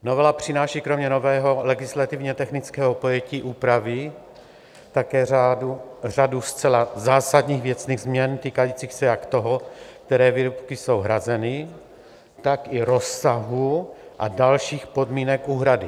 Novela přináší kromě nového legislativně technického pojetí úpravy také řadu zcela zásadních věcných změn týkajících se jak toho, které výrobky jsou hrazeny, tak i rozsahu a dalších podmínek úhrady.